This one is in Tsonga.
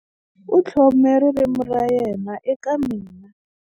U tlhome ririmi ra yena eka mina.